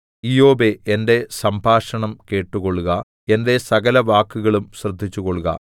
ഇയ്യോബേ എന്റെ സംഭാഷണം കേട്ടുകൊള്ളുക എന്റെ സകലവാക്കുകളും ശ്രദ്ധിച്ചുകൊള്ളുക